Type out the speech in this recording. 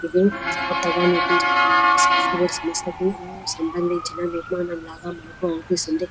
ఇది కొత్తగా నేర్పించబడిన ఒక సాఫ్ట్వేర్ సంస్థ కి సంబంధించిన నిర్మాణం లాగా మనకి అగుపిస్తుంది.